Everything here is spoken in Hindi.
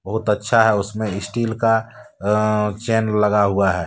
बहुत अच्छा है उसमें स्टील का अ चैन लगा हुआ है।